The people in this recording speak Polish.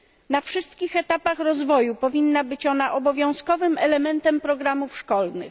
Na wszystkich etapach rozwoju powinna być ona obowiązkowym elementem programów szkolnych.